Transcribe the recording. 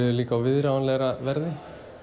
líka á viðráðanlegra verði